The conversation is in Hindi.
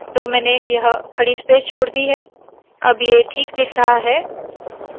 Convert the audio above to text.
तो मैंने यह खड़ी स्पेस छोड़ दी है अब ये ठीक दिख रहा है